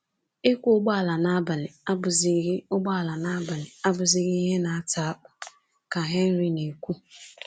"Ịkwọ ụgbọala n’abalị abụghịzi ụgbọala n’abalị abụghịzi ihe na-ata akpụ,” ka Henry na-ekwu.